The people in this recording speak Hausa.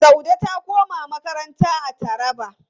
Saude ta koma makaranta a Taraba.